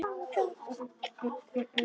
Þegar það minnkar fækkar fálkum.